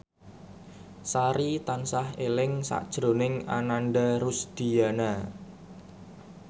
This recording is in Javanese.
Sari tansah eling sakjroning Ananda Rusdiana